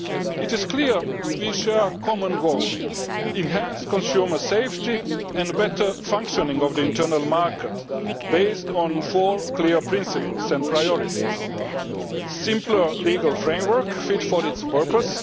It is clear that we share a common goal enhanced consumer safety and better functioning of the internal market, based on four clear principles and priorities a simpler legal framework fit for its purpose